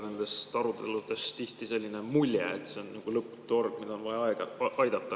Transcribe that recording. Nendest aruteludest võib tihti jääda selline mulje, et see on sihuke lõputu hord, mida on vaja aeg-ajalt aidata.